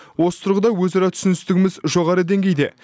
осы тұрғыда өзара түсіністігіміз жоғары деңгейде